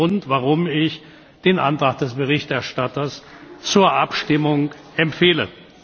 Das ist der Grund, warum ich den Antrag des Berichterstatters zur Abstimmung empfehle.